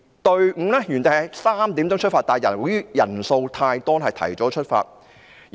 隊伍原定於下午3時出發，但由於人數太多，便提早出發。